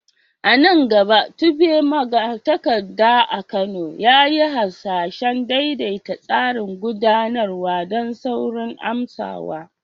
A nan gaba, Tope, magatakarda a Kano, ya yi hasashen daidaita tsarin gudanarwa don saurin amsawa.